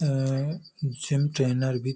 अं gym trainer भी --